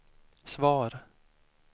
svar